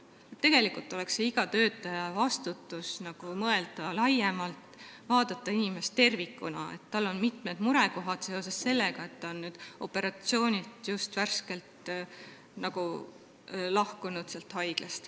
Tegelikult on iga töötaja vastutus mõelda laiemalt, vaadata inimest tervikuna, pidada silmas, et tal on mitmed mured seoses sellega, et ta on värskelt haiglast lahkunud.